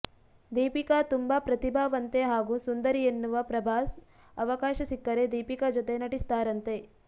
ದೀಪಿಕಾ ತುಂಬಾ ಪ್ರತಿಭಾವಂತೆ ಹಾಗೂ ಸುಂದರಿ ಎನ್ನುವ ಪ್ರಭಾಸ್ ಅವಕಾಶ ಸಿಕ್ಕರೆ ದೀಪಿಕಾ ಜೊತೆ ನಟಿಸ್ತಾರಂತೆ